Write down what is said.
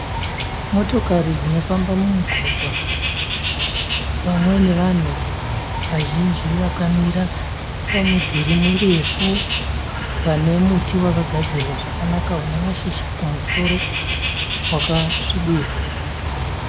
Motokari dzinofamba mumugwagwa pamwe nevanhu vazhinji vakamira pa mudhuri murefu pane muti wakagadzirwa zvakanaka una mashizha kumusoro wakasvibira.